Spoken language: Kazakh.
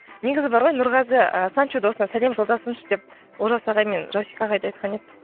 негізі бар ғой нұрғазы і санчо досына сәлем жолдасыншы деп олжас ағай мен жасик ағайды айтқан еді